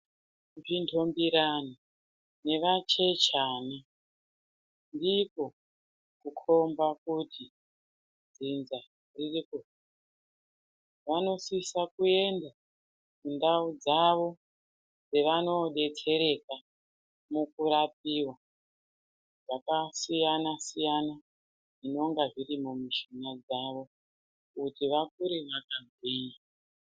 Zvinhongirani nevachechani ndikwo kukhomba kuti dzinza riri kukura. Vanosisa kuenda kundau dzavo dzavanoodetsereka nekurapiwa zvakasiyana siyana zvinonga zvirimwo munyama dzavo kuti vakure vakagwinya.